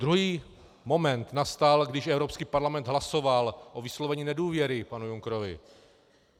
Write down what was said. Druhý moment nastal, když Evropský parlament hlasoval o vyslovení nedůvěry panu Junckerovi.